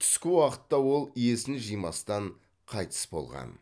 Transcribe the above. түскі уақытта ол есін жимастан қайтыс болған